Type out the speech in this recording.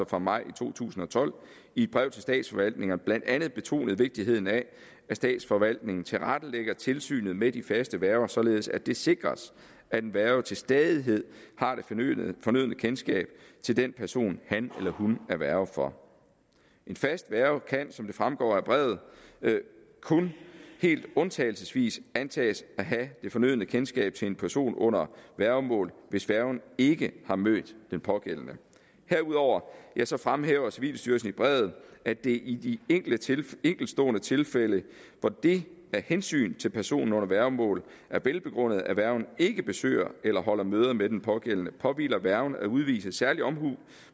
fra maj to tusind og tolv i et brev til statsforvaltningerne blandt andet betonet vigtigheden af at statsforvaltningen tilrettelægger tilsynet med de faste værger således at det sikres at en værge til stadighed har det fornødne fornødne kendskab til den person han eller hun er værge for en fast værge kan som det fremgår af brevet kun helt undtagelsesvis antages at have det fornødne kendskab til en person under værgemål hvis værgen ikke har mødt den pågældende herudover fremhæver civilstyrelsen i brevet at det i de enkeltstående tilfælde hvor det af hensyn til personen under værgemål er velbegrundet at værgen ikke besøger eller holder møder med den pågældende påhviler værgen at udvise særlig omhu